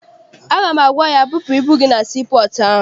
Aga m agwa ya, bupụ ibu gị na sii pọọtụ ahụ!